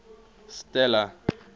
stella